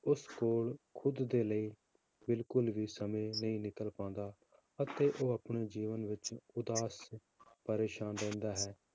ਉਸ ਕੋਲ ਖੁੱਦ ਦੇ ਲਈ ਬਿਲਕੁਲ ਵੀ ਸਮੇਂ ਨਹੀਂ ਨਿਕਲ ਪਾਉਂਦਾ ਅਤੇ ਉਹ ਆਪਣੇ ਜੀਵਨ ਵਿੱਚ ਉਦਾਸ ਪਰੇਸਾਨ ਰਹਿੰਦਾ ਹੈ,